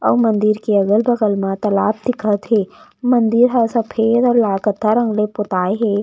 अऊ मंदिर के अगल- बगल म तलाब दिखत हे। मंदिर ह सफ़ेद लाल कत्था रंग ले पोता हे।